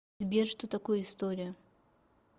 сбер что такое история